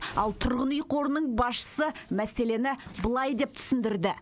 ал тұрғын үй қорының басшысы мәселені былай деп түсіндірді